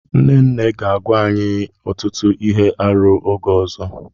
Nne nne ga-agwa anyị ọtụtụ ihe arụ oge ọzọ.